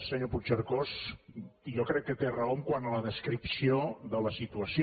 senyor puigcercós jo crec que té raó quant a la descripció de la situació